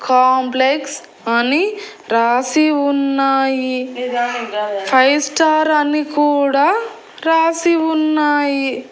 Complex అని రాసి ఉన్నాయి ఫైవ్ స్టార్ అని కూడా రాసి ఉన్నాయి.